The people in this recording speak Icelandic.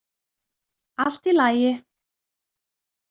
Allt í lagi